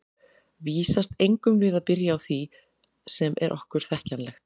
Vísast eigum við að byrja á því sem er okkur þekkjanlegt.